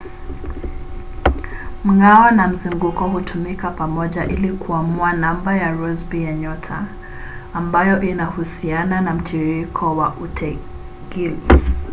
mng'ao na mzunguko hutumika pamoja ili kuamua namba ya rossby ya nyota ambayo inahusiana na mtiririko wa utegili